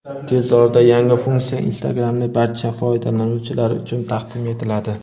Tez orada yangi funksiya Instagram’ning barcha foydalanuvchilari uchun taqdim etiladi.